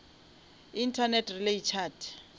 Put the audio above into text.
internet relay chat